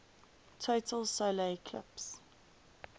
total solar eclipse